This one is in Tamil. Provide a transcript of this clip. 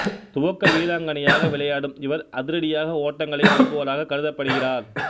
துவக்க வீராங்கனையாக விளையாடும் இவர் அதிரடியாக ஓட்டங்களை எடுப்பவராக கருதப்படுகிறார்